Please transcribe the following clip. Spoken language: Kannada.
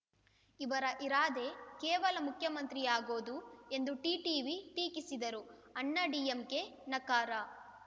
ಅವರ ಇರಾದೆ ಕೇವಲ ಮುಖ್ಯಮಂತ್ರಿಯಾಗೋದು ಎಂದು ಟಿಟಿವಿ ಟೀಕಿಸಿದರು ಅಣ್ಣಾ ಡಿಎಂಕೆ ನಕಾರ